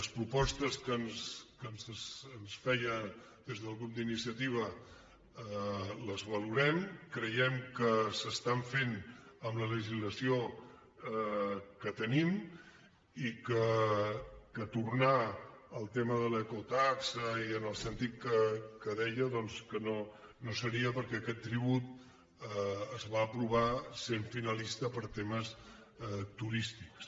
les propostes que ens feia des del grup d’iniciativa les valorem creiem que s’estan fent amb la legislació que tenim i que tornar al tema de l’ecotaxa i en el sentit que deia doncs no seria perquè aquest tribut es va aprovar sent finalista per a temes turístics